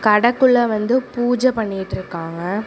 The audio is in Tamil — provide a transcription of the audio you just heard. கடக்குள்ள வந்து பூஜை பண்ணிட்டு இருக்காங்க.